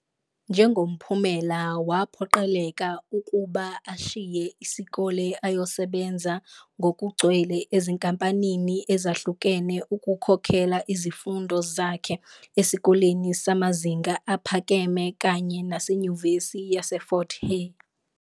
Njengomphumela, waphoqeleka ukuba ashiye isikole ayosebenza ngokugcwele ezinkampanini ezahlukene ukukhokhela izifundo zakhe esikoleni samazinga aphakeme kanye naseNyuvesi yaseFort-Hare.